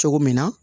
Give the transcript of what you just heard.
Cogo min na